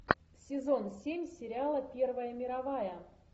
сезон семь сериала первая мировая